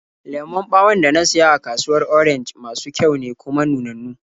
Lemon ɓawon da na siya a kasuwar Orenj masu kyau ne, kuma nunannu.